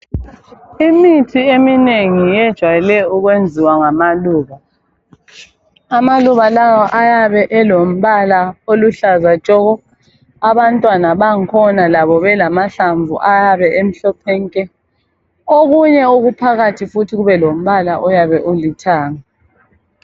imithi eminengi ejayele ukuyenziwa ngamaluba, amaluba lawa ayabe elombala oluhlaza tshoko abantwana bangikhona labo bayabe lelombala omhlophe nke, okunye okuyabe kuphakathi kuyabe kulombala olithanga.